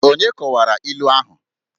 Onye kọwara ilu ahụ?